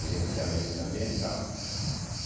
Gerenciamento ambiental.